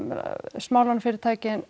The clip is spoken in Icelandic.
smálánafyrirtækin